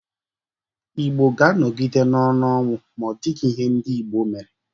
Igbo ga-anọgide n'ọnụ ọnwụ ma ọdịghi ihe ndị Igbo mere.